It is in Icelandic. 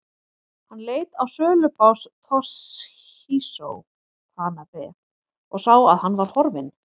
Hann leit á sölubás Toshizo Tanabe og sá að hann var horfinn.